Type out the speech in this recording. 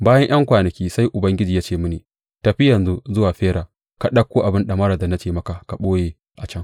Bayan ’yan kwanaki sai Ubangiji ya ce mini, Tafi yanzu zuwa Fera ka ɗauko abin ɗamara da na ce maka ka ɓoye a can.